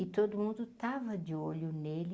E todo mundo estava de olho nele,